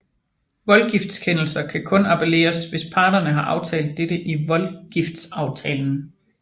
Voldgiftskendelser kan kun appelleres hvis parterne har aftalt dette i voldgiftsaftalen